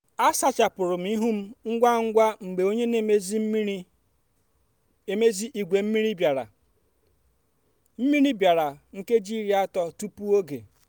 a sachapụrụ m ihu m ngwa ngwa mgbe onye na-emezi igwe mmiri bịara mmiri bịara nkeji iri atọ tupu oge